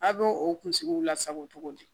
A' bɛ o kunsigiw lasago cogo di